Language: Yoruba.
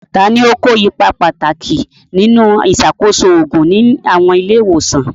Ta ni ó kó ipa pàtàkì nínú ìṣàkóso òògùn ní àwọn ilé ìwòsàn?